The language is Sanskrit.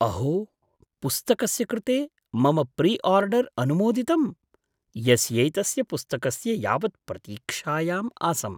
अहो, पुस्तकस्य कृते मम प्रिआर्डर् अनुमोदितम्, यस्यैतस्य पुस्तकस्य यावत् प्रतीक्षायाम् आसम्।